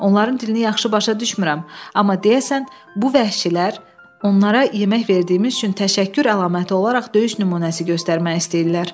Onların dilini yaxşı başa düşmürəm, amma deyəsən bu vəhşilər onlara yemək verdiyimiz üçün təşəkkür əlaməti olaraq döyüş nümunəsi göstərmək istəyirlər.